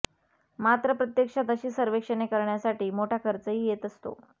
मात्र प्रत्यक्षात अशी सर्वेक्षणे करण्यासाठी मोठा खर्चही येत असतो